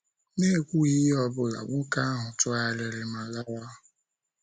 N’ekwughị ihe ọ bụla, nwoke ahụ tụgharịrị ma lawa.